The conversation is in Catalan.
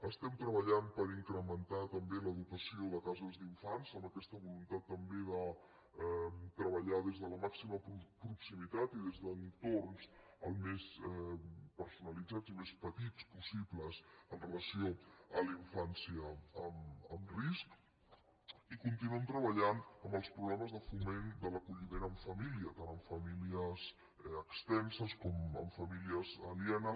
estem treballant per incrementar també la dotació de cases d’infants amb aquesta voluntat també de treballar des de la màxima proximitat i des d’entorns el més personalitzats i més petits possibles amb relació a la infància amb risc i continuem treballant en els programes de foment de l’acolliment en família tant en famílies extenses com en famílies alienes